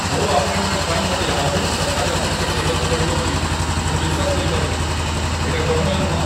ମୋ' ଆପଏଣ୍ଟମେଣ୍ଟ ପାଇଁ ମତେ ଆହୁରି ସପ୍ତାହେ ଅପେକ୍ଷା କରିବାକୁ ପଡ଼ିବ ବୋଲି ମୁଁ ବିଶ୍ୱାସ କରିପାରୁନି । ଏଇଟା ଗ୍ରହଣୀୟ ନୁହଁ ।